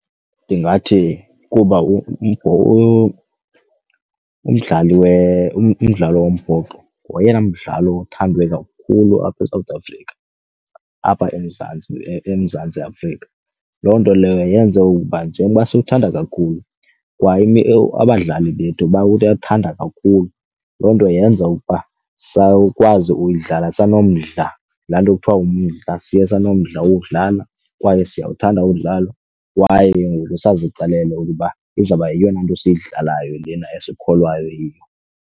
Ndingathi kuba umdlalo wombhoxo ngoyena mdlalo othandwa kakhulu apha eSouth Africa apha eMzantsi Afrika. Loo nto leyo yenze ukuba njengoba siyawuthanda kakhulu kwa abadlali bethu bawuthanda kakhulu. Loo nto yenza ukuba sawukwazi uyidlala sanomdla, laa nto kuthiwa ngumdla. Siye sinomdla wokuudlala kwaye siyawuthanda uwudlala kwaye ke ngoku sazixelele ukuba izawuba yeyona nto esiyidlalayo lena esikholwayo yiyo.